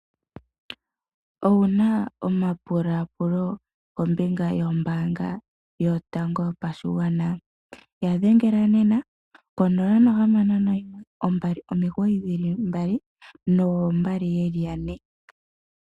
Owuna omapula pulo kombinga yombanga yotango yopashigwana yadhengela nena konola nohamano noyimwe ombali omigoyi dhili mbali noombali yeli yane.